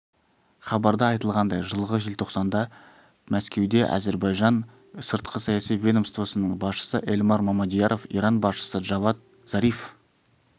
хабарда айтылғандай жылғы желтоқсанда мәскеуде әзербайжан сыртқы саяси ведомствосының басшысы эльмар мамедъяров иран басшысы джавад зариф